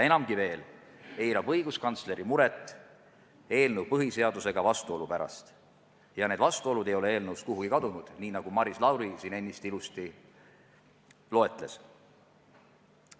Enamgi veel, eirab õiguskantsleri muret eelnõu põhiseadusega vastuolu pärast ja need vastuolud ei ole eelnõust kuhugi kadunud, nii nagu Maris Lauri siin ennist ilusti selgitas.